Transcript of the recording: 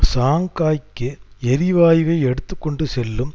ஷங்காய்க்கு எரிவாயுவை எடுத்து கொண்டு செல்லும்